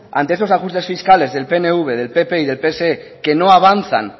ante esos ajustes fiscales del pnv del pp y del pse que no avanzan